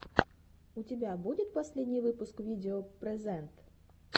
у тебя будет последний выпуск видео прэзэнт